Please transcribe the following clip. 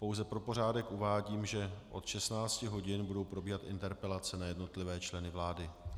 Pouze pro pořádek uvádím, že od 16 hodin budou probíhat interpelace na jednotlivé členy vlády.